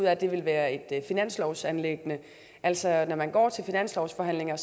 at det vil være et finanslovsanliggende altså når man går til finanslovsforhandlingerne